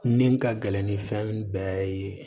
Min ka gɛlɛn ni fɛn bɛɛ ye